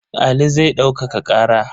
Ali zai ɗaukaka ƙara.